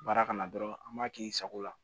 Baara kana dɔrɔn an b'a k'i sago la